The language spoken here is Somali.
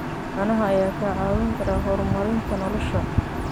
Caanaha ayaa kaa caawin kara horumarinta nolosha.